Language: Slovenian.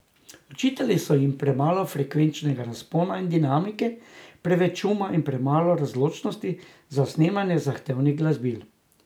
Očitali so jim premalo frekvenčnega razpona in dinamike, preveč šuma in premalo razločljivosti za snemanje zahtevnih glasbil.